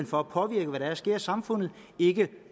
for at påvirke hvad der sker i samfundet ikke